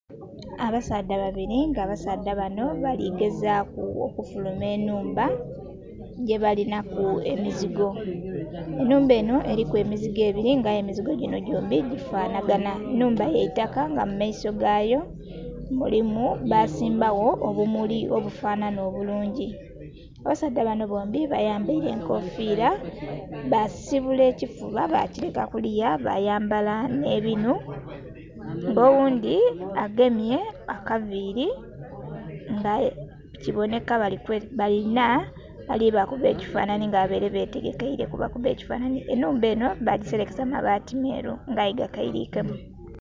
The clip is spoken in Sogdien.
Abasaadha babili nga abasaadha bano bali gezaaku okufuluma ennhumba gyebalinaku emizigo. Ennhumba enho eliku emizigo ebili nga aye emizigo ginho gyombi gifanhaganha. Ennhumba ya itaka nga mu maiso gayo, basimbawo obumuli obufanhanha obulungi. Abasaadha bano bombi bayambaile enkofiira, basibula ekifuba bakileka kuliya, bayayambala nh'ebinhu. Oghundhi agemye akaviili nga aye kibonheka balina ali bakuba ekifanhanhi nga babaile betegekeile kubakuba ekifanhanhi. Ennhumba enho bagiselekesa mabaati meeru nga aye gakailikemu.